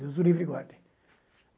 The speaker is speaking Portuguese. Deus o livre e guarde.